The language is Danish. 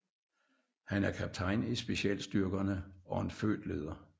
Han er kaptajn i specialstyrkerne og en født leder